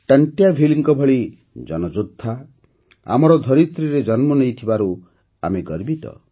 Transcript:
ଟଂଟ୍ୟାଭିଲ୍ଙ୍କ ଭଳି ଜନଯୋଦ୍ଧା ଆମର ଧରିତ୍ରୀରେ ଜନ୍ମ ନେଇଥିବାରୁ ଆମେ ଗର୍ବିତ